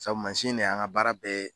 Sabu de y' an ka baara bɛɛ ye